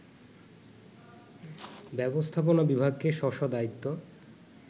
ব্যবস্থাপনা বিভাগকে স্ব স্ব দায়িত্ব